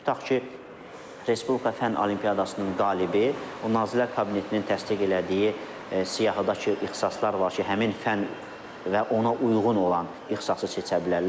Tutaq ki, Respublika fənn olimpiadasının qalibi, o Nazirlər Kabinetinin təsdiq elədiyi siyahıdakı ixtisaslar var ki, həmin fənn və ona uyğun olan ixtisası seçə bilərlər.